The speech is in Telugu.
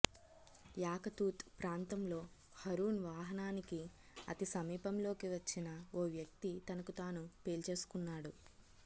యాకతూత్ ప్రాంతంలో హరూన్ వాహనానికి అతి సమీపంలోకి వచ్చిన ఓ వ్యక్తి తనకు తాను పేల్చేసుకున్నాడు